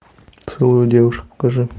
целую девушек покажи